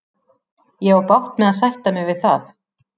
Ég á bágt með að sætta mig við það.